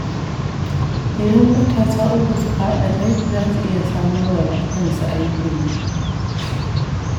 Idan matasa uku suka haɗa kai, za su iya samarwa da kansu aikin yi.